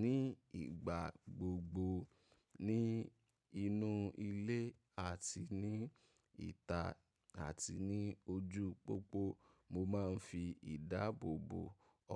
ní ìgbà gbogbo ní inú ilé àti ní ìta àti ní ojú pópó mo máa ń fi ìdáàbòbò